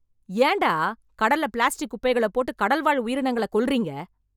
ஏன்டா கடல்ல பிளாஸ்டிக் குப்பைகளை போட்டுக் கடல் வாழ் உயிரினங்களக் கொல்றீங்க?